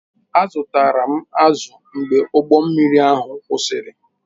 Azụtara m azụ mgbe ụgbọ mmiri ahụ kwụsịrị